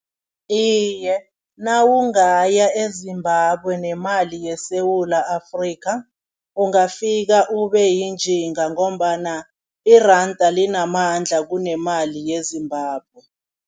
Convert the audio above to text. Iye, nawungaya eZimbabwe nemali yeSewula Afrika ungafika ubeyinjinga ngombana iranda linamandla kunemali yeZimbabwe.